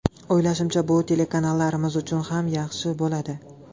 O‘ylashimcha, bu telekanallarimiz uchun ham yaxshi bo‘ladi.